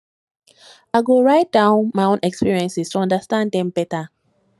i go write down my experiences to understand them better